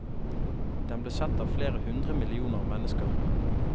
Den ble sett av flere hundre millioner mennesker.